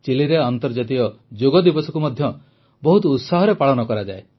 ଚିଲିରେ ଆନ୍ତର୍ଜାତିକ ଯୋଗ ଦିବସକୁ ମଧ୍ୟ ବହୁତ ଉତ୍ସାହରେ ପାଳନ କରାଯାଏ